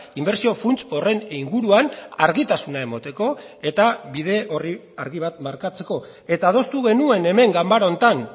inbertsio funts horren inguruan argitasuna emateko eta bide orri argi bat markatzeko eta adostu genuen hemen ganbara honetan